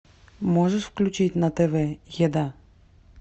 можешь включить на тв еда